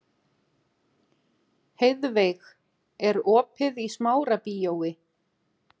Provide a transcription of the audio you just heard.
Heiðveig, er opið í Smárabíói?